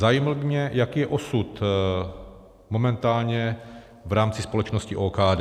Zajímalo by mě, jaký je osud momentálně v rámci společnosti OKD.